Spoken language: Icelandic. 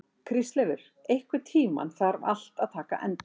Kristleifur, einhvern tímann þarf allt að taka enda.